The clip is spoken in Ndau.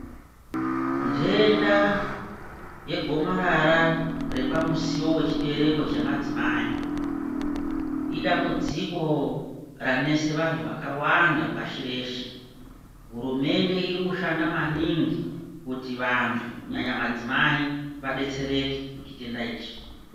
Nhenda yegomarara repamusiwo wechibereko chemadzimai, idambudziko ranese vantu vakawanda pashi reshe. Hurumende irikushanda maningi kuti vantu kunyanya madzimai vadetsereke muchitenda ichi.